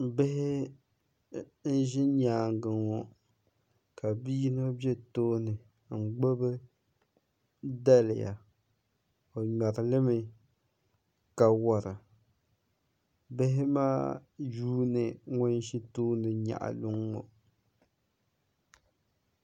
Bihi n-ʒi nyaaŋa ŋɔ ka bi' yino be tooni n-gbubi daliya o ŋmɛri li mi ka wara bihi maa yuuni ŋun ʒi tooni nyaɣi luŋa ŋɔ